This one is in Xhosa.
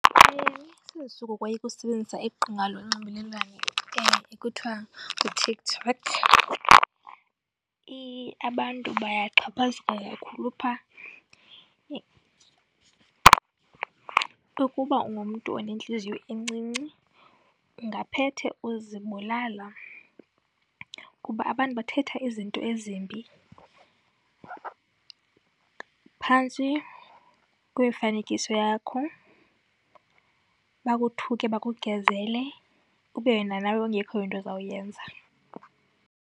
Sendisuka ukoyika ukusebenzisa iqonga lonxibelelwano ekuthiwa nguTikTok. Abantu bayaxhaphazeka kakhulu phaa. Ukuba ungumntu onentliziyo encinci ungaphethe uzibulala kuba abantu bathetha izinto ezimbi phantsi kwemifanekiso yakho, bakuthuke bakugezele, ube wena nawe ingekho into ozawuyenza.